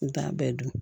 N t'a bɛɛ dun